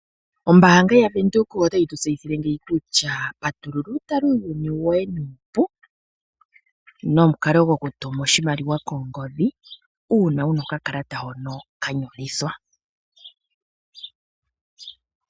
Ombaanga yaVenduka otayi tseyithile ngeyi kutya patulula u tule uuyuni woye nuupu nomukalo gokutuma oshimaliwa kongodhi uuna wuna okakalata koye hono ka nyolithwa.